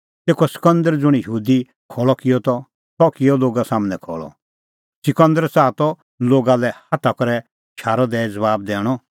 तेखअ सिकंदर ज़ुंण यहूदी खल़अ किअ त सह किअ लोगा सम्हनै खल़अ सिकंदर च़ाहा त लोगा लै हाथा करै शारअ दैई ज़बाब दैणअ